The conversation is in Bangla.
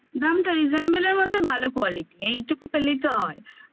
দামটা reasonable মধ্যে ভালো quality এইটুকু পেলেই তো হয়